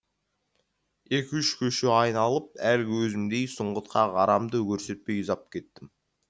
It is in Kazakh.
екі үш көше айналып әлгі өзімдей сұңғытқа қарамды көрсетпей ұзап кеттім